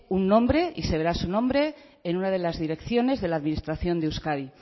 un nombre y se verá su nombre en una de las direcciones de la administración de euskadi